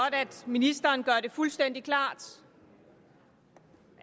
at ministeren gør det fuldstændig klart